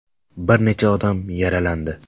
Bir necha odam yaralandi.